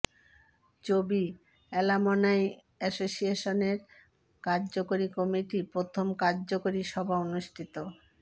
চবি অ্যালামনাই এসোসিয়েশনের কার্যকরী কমিটি প্রথম কার্যকরী সভা অনুষ্ঠিত